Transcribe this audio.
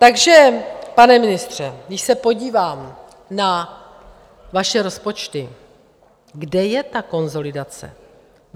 Takže pane ministře, když se podívám na vaše rozpočty, kde je ta konsolidace?